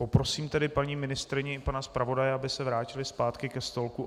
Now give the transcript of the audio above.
Poprosím tedy paní ministryni i pana zpravodaje, aby se vrátili zpátky ke stolku.